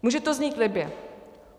Může to znít libě.